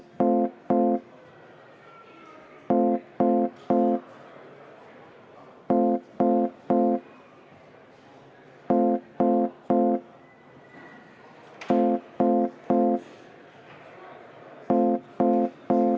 Palun võtta seisukoht ja hääletada!